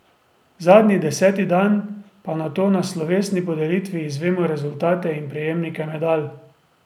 Zadnji, deseti dan, pa nato na slovesni podelitvi izvemo rezultate in prejemnike medalj.